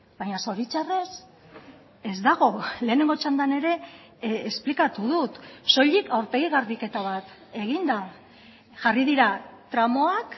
baina zoritxarrez ez dago lehenengo txandan ere esplikatu dut soilik aurpegi garbiketa bat egin da jarri dira tramoak